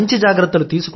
మంచి జాగ్రత్తలు